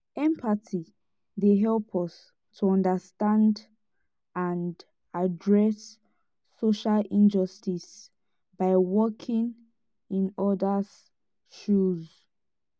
empathy dey help us to understand and address social injustices by walking in odas' shoes.